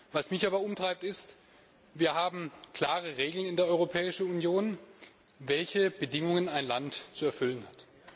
Was mich aber umtreibt, ist, dass wir klare Regeln in der Europäischen Union haben, welche Bedingungen ein Land zu erfüllen hat.